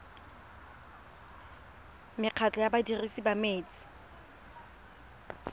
mekgatlho ya badirisi ba metsi